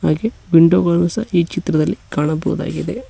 ಹಾಗು ವಿಂಡೋ ಗಳು ಸಹ ಈ ಚಿತ್ರದಲ್ಲಿ ಕಾಣಬಹುದಾಗಿದೆ.